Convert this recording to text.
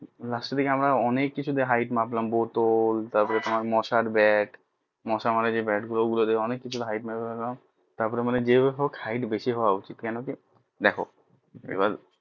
Last এর দিকে আমরা অনেক কিছু দিয়ে hight মাপলাম বোতল তারপর তোমার মশার ব্যাট মশা মারা যে ব্যাট ও গুলো দিয়ে অনেক কিছু দিয়ে hight মেপে নিলাম তার পর বললাম যাই হোক hight বেশি হওয়া উচিত কেন কি দেখো এবার